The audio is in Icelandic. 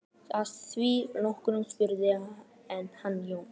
Að því loknu spurði hann Jón